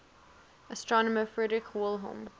astronomer friedrich wilhelm